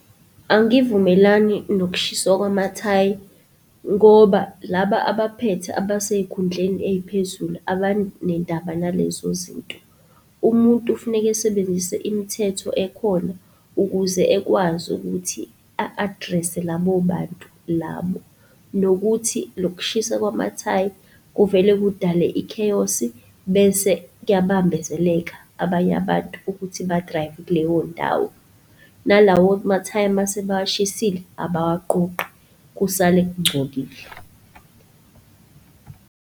Angivumelani nokushiswa kwamathayi ngoba laba abaphethe abasey'khundleni ey'phezulu abanendaba nalezo zinto. Umuntu kufuneke esebenzise imithetho ekhona ukuze ekwazi ukuthi a-address-e labo bantu labo, nokuthi lokushiswa kwamathayi kuvele kudale i-chaos-i bese kuyabambezeleka abanye abantu ukuthi ba-drive-e kuleyondawo. Nalawo mathayi mase bawashisile abawaqoqi kusale kungcolile.